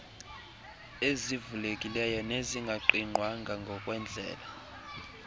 ezivulekileyo nezingaqigqwanga nangendlela